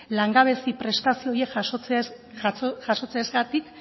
langabezia prestazio horiek jasotze ezagatik